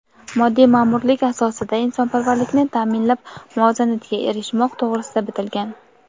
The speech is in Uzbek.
moddiy maʼmurlik asosida insonparvarlikni taʼminlab muvozanatga erishmoq to‘g‘risida bitilgan.